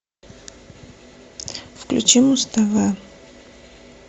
включи муз тв